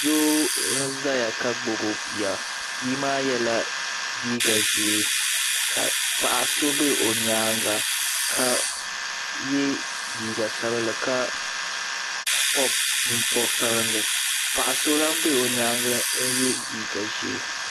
Doo n zaya ka gbibi bia bia maa yela liiga ʒee ka paɣa so be o nyaanga ka ye liiga sabinli ka pobi bin'pob'sabinli paɣa so lahi be o nyaanga n ye liiga ʒee .